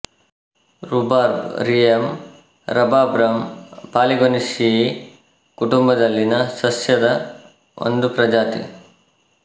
rhubarb Rheum rhabarbarum Polygonaceae ಕುಟುಂಬದಲ್ಲಿನ ಸಸ್ಯದ ಒಂದು ಪ್ರಜಾತಿ